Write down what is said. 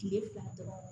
Kile fila dɔrɔn